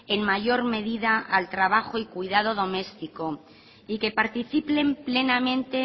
en mayor medida al trabajo y cuidado doméstico y que participen plenamente